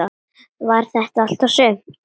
Var þetta allt og sumt?